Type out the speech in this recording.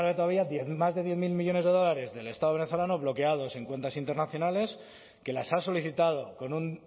todavía más de diez mil millónes de dólares del estado venezolano bloqueados en cuentas internacionales que las ha solicitado con un